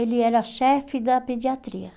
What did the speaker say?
Ele era chefe da pediatria.